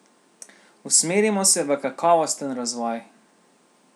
Usmerimo se v kakovosten razvoj!